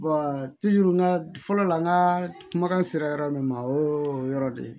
n ka fɔlɔ la n ka kumakan sera yɔrɔ min ma o ye o yɔrɔ de ye